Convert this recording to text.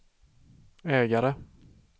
ägare